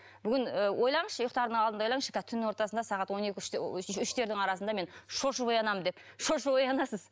бүгін ы ойлаңызшы ұйықтардың алдында ойлаңызшы түн ортасында сағат он екі үштердің арасында мен шошып оянамын деп шошынып оянасыз